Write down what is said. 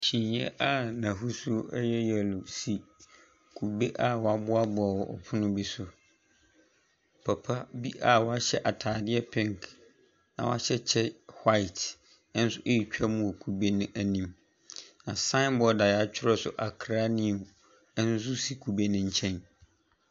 Kyineɛ a n’ahosuo a yɛ yellow si kube a wɔaboaboa wɔ pono bi so. Papa a ɔhyɛ ataadeɛ pink na wahyɛ kyɛ white nso ɛretwa mu wɔ kube n’anim. Na signboard wɔatwerɛ so Accra New nso si kube ne nkyɛn.